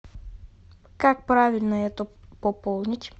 как правильно это пополнить